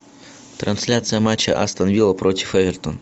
трансляция матча астон вилла против эвертон